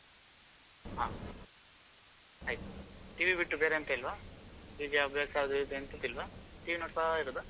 ಹಾ ಆಯ್ತು TV ಬಿಟ್ಟು ಬೇರೆ ಎಂತ ಇಲ್ವಾ ಹೀಗೆ ಅಭ್ಯಾಸ ಅದು ಇದು ಎಂತದು ಇಲ್ವಾ TV ನೋಡ್ತಾ ಇರೋದ?